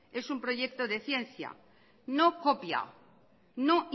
es un proyecto de ciencia no copia no